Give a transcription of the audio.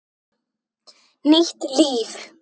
Nýtt líf.